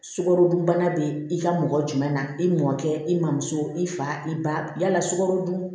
Sukarodunbana bɛ i ka mɔgɔ jumɛn na i mɔkɛ i mɔmuso i fa i ba yala sukaro dun